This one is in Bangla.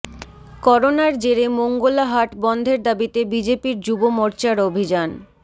করোনার জেরে মোঙ্গলা হাট বন্ধের দাবিতে বিজেপির যুব মোর্চার অভিযান